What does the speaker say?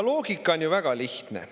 Loogika on ju väga lihtne.